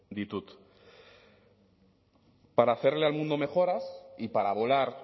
ditut para hacerle al mundo mejoras y para volar